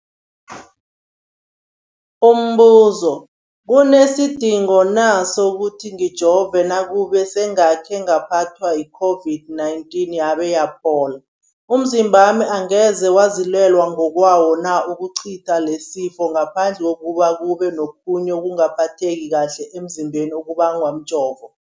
Umbuzo, kunesidingo na sokuthi ngijove nakube sengakhe ngaphathwa yi-COVID-19 yabe yaphola? Umzimbami angeze wazilwela ngokwawo na ukucitha lesisifo, ngaphandle kobana kube nokhunye ukungaphatheki kuhle emzimbeni okubangwa mjovo?